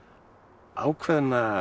ákveðna